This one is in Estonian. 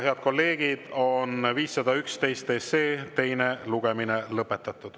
Head kolleegid, 511 SE teine lugemine on lõpetatud.